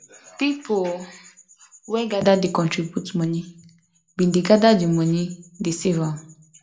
people um wey gather dey contribute money bin dey gather di money dey save am